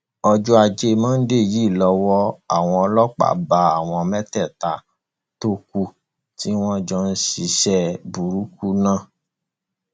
ọjọ ajé monde yìí lowó àwọn ọlọpàá bá àwọn mẹta tó kù tí wọn jọ ń ṣiṣẹ burúkú náà